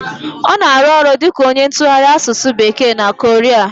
Ọ na arụ ọrụ dịka onye ntụgharị asụsụ bekee na Korea